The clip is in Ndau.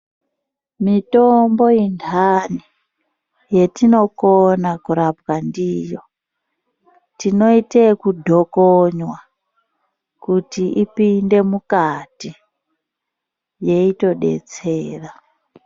Mitombo indani yatinokona kurapa ndiyo tinoita ekudhokonywa kuti ipinde mukati yeitodetsera.